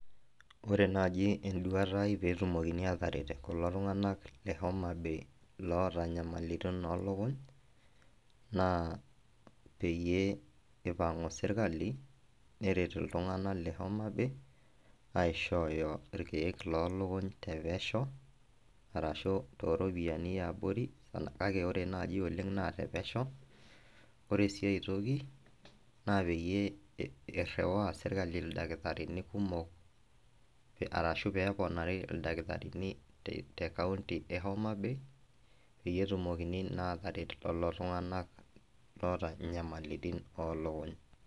Ore naji enduata ai petumokini ataret kulo tung'anak le Homabay loota nyamalitin olukuny, naa peyie ipang'u sirkali, neret iltung'anak le Homabay, aishooyo irkeek lolukuny tepesho, arashu toropyiani eabori, kake ore nai oleng naa tepesho. Ore si aitoki, na peyie irriwaa sirkali ildakitarini kumok arashu peponari ildakitarini tekaunti e Homabay, peyie etumokini naa ataret lolo tung'anak loota nyamalitin olukuny.